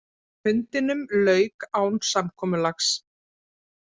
Fundinum lauk án samkomulags